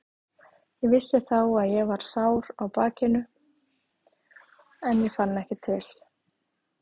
Ég vissi þá að ég var sár á bakinu en ég fann ekki til.